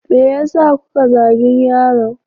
Me yasa kuka zagin yaron?